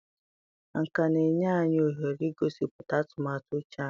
Nkà na-enye anyị ohere igosipụta atụmatụ uche anyị.